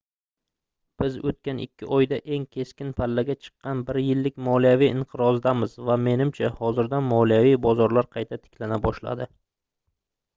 biz oʻtgan ikki oyda eng keskin pallaga chiqqan bir yillik moliyaviy inqirozdamiz va menimcha hozirda moliyaviy bozorlar qayta tiklana boshladi